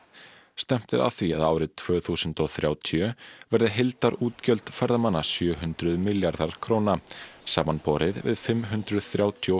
stefnt er að því að árið tvö þúsund og þrjátíu verði heildarútgjöld ferðamanna sjö hundruð milljarðar króna samanborið við fimm hundruð þrjátíu og